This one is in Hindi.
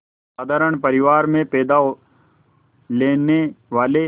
साधारण परिवार में पैदा लेने वाले